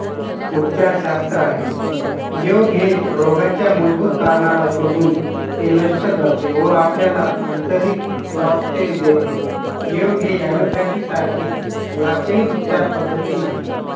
उपचार शास्त्र आहे. योग हे रोगाच्या मूलभूत कारणाला शोधून ते नष्ट करते व आपल्याला आंतरिक स्वास्थ्य देते योग हे allopathy सारखे लाक्षणिक उपचार पद्धती नाही.